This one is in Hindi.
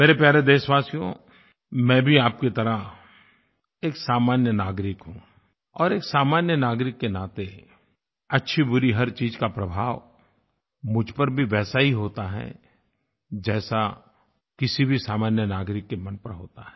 मेरे प्यारे देशवासियों मैं भी आप की तरह एक सामान्य नागरिक हूँ और एक सामान्य नागरिक के नाते अच्छीबुरी हर चीज़ का प्रभाव मुझ पर भी वैसा ही होता है जैसा किसी भी सामान्य नागरिक के मन पर होता है